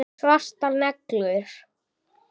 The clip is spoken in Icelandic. Svartar neglur.